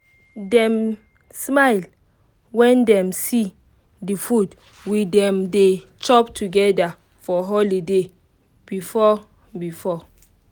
dem smile when dem see the food we dem dey chop together for holiday before-before